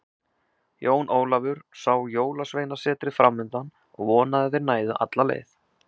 Jón Ólafur sá Jólasveinasetrið framundan og vonaði að þeir næðu alla leið.